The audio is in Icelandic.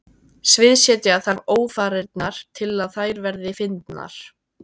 Sviðsetja þarf ófarirnar til að þær verði fyndnar.